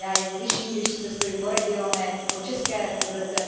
Já je slyším, když cestuju po regionech, po České republice.